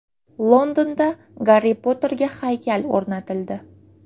Londonda Garri Potterga haykal o‘rnatildi.